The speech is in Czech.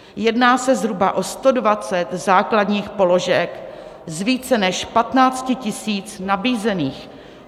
Jedná se zhruba o 120 základních položek z více než 15 000 nabízených.